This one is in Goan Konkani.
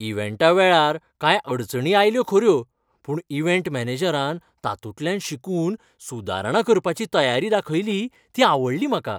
इव्हँटा वेळार कांय अडचणी आयल्यो खऱ्यो, पूण इव्हँट मॅनेजरान तातूंतल्यान शिकून सुदारणा करपाची तयारी दाखयली ती आवडली म्हाका.